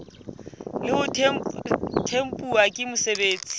le ho tempuwa ke mosebeletsi